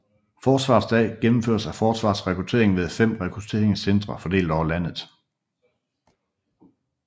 Forsvarets Dag gennemføres af Forsvarets Rekruttering ved fem rekrutteringscentre fordelt over landet